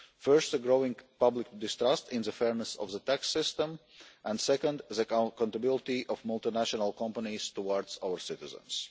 First, a growing public distrust in the fairness of the tax system, and second, the accountability of multinational companies towards our citizens.